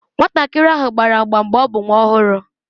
Nwatakịrị ahụ gbara agba mgbe ọ bụ nwa ọhụrụ.